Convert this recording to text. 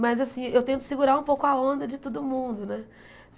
Mas, assim, eu tento segurar um pouco a onda de todo mundo, né?